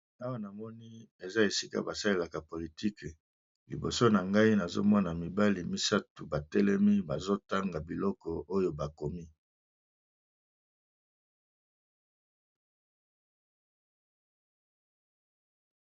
Awa namoni eza esika ba salelaka politike liboso na ngai nazomona mibali misato ba telemi bazo tanga biloko oyo bakomi.